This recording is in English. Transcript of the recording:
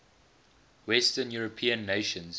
western european nations